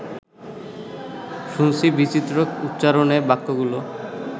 শুনছি বিচিত্র উচ্চারণে বাক্যগুলো